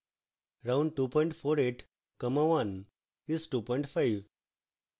round 248 comma 1 is 25